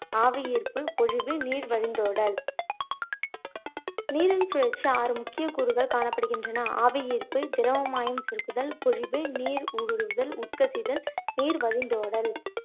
ஆவியீர்ப்பு, பொழிவு, நீர் வழிந்தோடல் நீரின் சுழற்சி ஆறு முக்கிய கூறுகள் காணப்படுகின்றன ஆவியீர்ப்பு, திரவமாயம் கருங்குதல், பொழிவு, நீர் ஊடுருவுதல், உட்கசிதல், நீர் வழிந்தோடல்